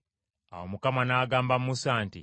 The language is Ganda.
Awo Mukama n’agamba Musa nti,